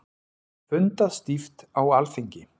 Fundað stíft á Alþingi